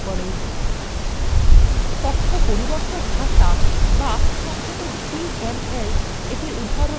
তথ্য পরিবর্তক ভাষা বা সংক্ষেপে dmlএর উদাহরণ হলো :